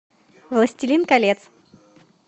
властелин колец